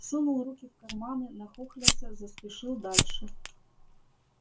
сунул руки в карманы нахохлился заспешил дальше